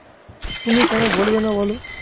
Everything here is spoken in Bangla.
তুমি কেন বলবে না বলো?